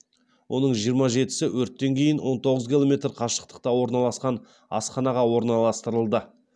оның жиырма жетісі өрттен кейін он тоғыз километр қашықтықта орналасқан асханаға орналастырылды